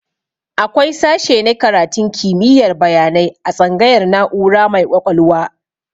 Akwai sashe na karatun kimiyar bayanai a tsangayar na'ura mai ƙwaƙwalwa